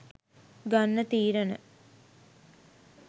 ගන්න තීරණ